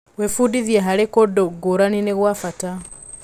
Gwĩbundithia harĩ kũndũ ngũrani nĩ gwa bata.